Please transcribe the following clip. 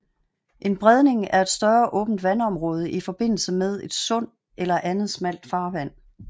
En bredning er et større åbent vandområde i forbindelse med et sund eller andet smalt farvand